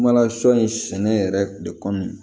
Kuma na sɔ in sɛnɛ yɛrɛ de kɔmi